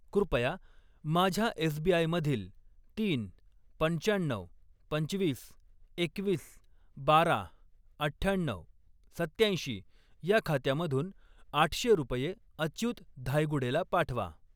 कृपया माझ्या एसबीआय मधील तीन, पंचाण्णऊ, पंचवीस, एकवीस, बारा, अठ्ठ्याण्णऊ, सत्त्याऐंशी या खात्यामधून आठशे रुपये अच्युत धायगुडेला पाठवा.